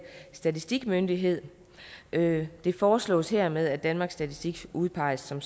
statistikmyndighed det det foreslås hermed at danmarks statistik udpeges som